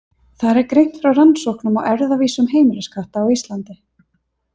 Þar er greint frá rannsóknum á erfðavísum heimiliskatta á Íslandi.